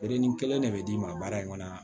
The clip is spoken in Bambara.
kelen de bɛ d'i ma baara in kɔnɔ